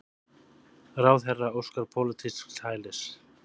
Ráðherra óskar pólitísks hælis